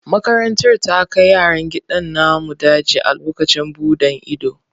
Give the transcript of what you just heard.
Makarantar ta kai yaran gidan namun daji a lokacin buɗan ido.